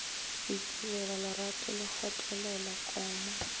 ikilela lerato le kgotlelo koma